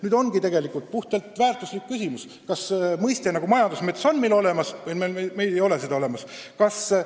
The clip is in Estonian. Nüüd ongi meil ees puhtalt väärtushinnanguline küsimus: kas selline asi nagu majandusmets on meil olemas või meil ei ole seda olemas?